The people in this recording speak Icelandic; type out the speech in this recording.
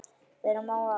Vera má að